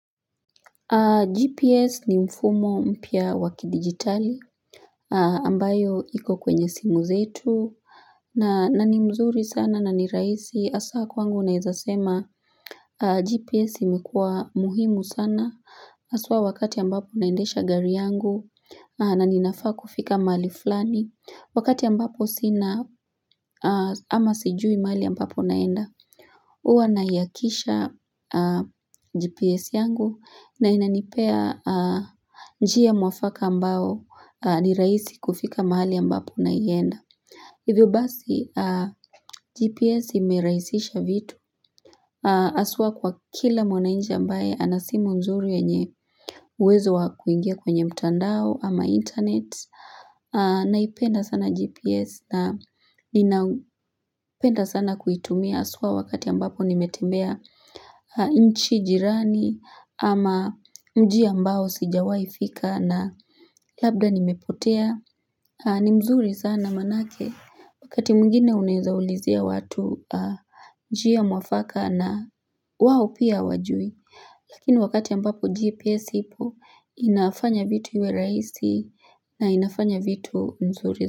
GPS ni mfumo mpia wakidigitali ambayo iko kwenye simu zetu na ni mzuri sana na ni raisi hasa kwangu naezasema GPS imekua muhimu sana haswa wakati ambapo naendesha gari yangu na ninafaa kufika mali fulani wakati ambapo sina ama sijui mahali ambapo naenda huwa naiakisha GPS yangu na inanipea njia mwafaka ambao niraisi kufika mahali ambapo naienda. Hivyo basi GPS imeraisisha vitu haswa kwa kila mwanainchi ambaye ana simu nzuri yanye uwezo wa kuingia kwenye mtandao ama internet. Naipenda sana GPS na inapenda sana kuitumia haswa wakati ambapo nimetembea inchi jirani ama mji ambao sijawai fika na labda nimepotea. Ni mzuri sana manake wakati mwingine unawezaulizia watu njia mwafaka na wawopia hawajui. Lakini wakati ambapo GPS ipo inafanya vitu iwe raihisi na inafanya vitu nzuri.